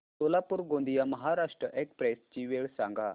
Solapur Gondia Maharashtra express ची वेळ सांगा